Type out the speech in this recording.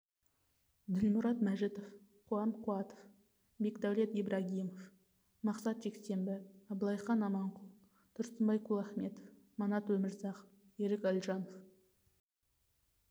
ділмұрат мәжітов қуан қуатов бекдәулет ибрагимов мақсат жексенбі абылайхан аманқұл тұрсынбай кулахметов манат омірзақов ерік әлжанов